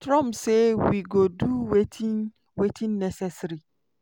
trump say "we go do wetin wetin necessary".